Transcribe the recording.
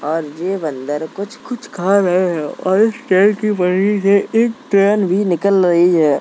और जे बंदर कुछ-कुछ खा रहे हैं और इस ट्रेन की पटरी से एक ट्रेन भी निकल रही है।